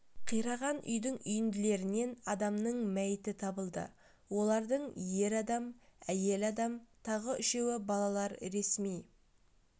қираған үйдің үйінділерінен адамның мәйіті табылды олардың ер адам әйел адам тағы үшеуі балалар ресми